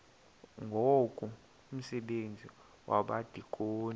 ngoku umsebenzi wabadikoni